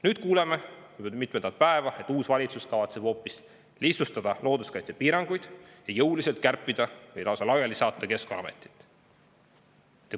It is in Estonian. Nüüd kuuleme juba mitmendat päeva, et uus valitsus kavatseb hoopis lihtsustada looduskaitsepiiranguid ja jõuliselt kärpida Keskkonnaametit või selle lausa laiali saata.